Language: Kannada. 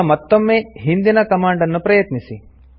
ಈಗ ಮತ್ತೊಮ್ಮೆ ಹಿಂದಿನ ಕಮಾಂಡ್ ಅನ್ನು ಪ್ರಯತ್ನಿಸಿ